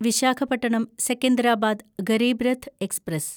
Visakhapatnam Secunderabad Garib Rath express